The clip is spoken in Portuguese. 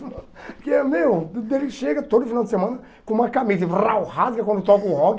Porque, meu, ele chega todo final de semana com uma camisa e vrau rasga quando toca o rock.